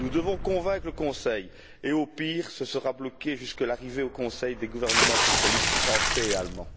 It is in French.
Nous devons convaincre le Conseil et, au pire, ce sera bloqué jusque l'arrivée au Conseil des gouvernements socialistes français et allemand.